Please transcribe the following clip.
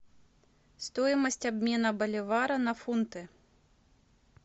стоимость обмена боливара на фунты